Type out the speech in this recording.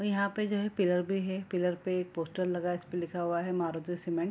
और यहाँ पे जो है पिलर भी है पिलर पे एक पोस्टर लगा है इसपे लिखा हुआ है मारुती सीमेंट .